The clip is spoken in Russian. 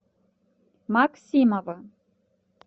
максимова